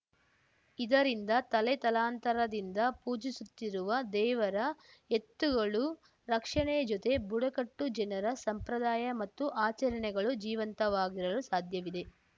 ಇದರಿಂದ ತಲೆತಲಾಂತರದಿಂದ ಪೂಜಿಸುತ್ತಿರುವ ದೇವರ ಎತ್ತುಗಳು ರಕ್ಷಣೆಯ ಜೊತೆ ಬುಡಕಟ್ಟು ಜನರ ಸಂಪ್ರದಾಯ ಮತ್ತು ಆಚರಣೆಗಳು ಜೀವಂತವಾಗಿರಲು ಸಾಧ್ಯವಿದೆ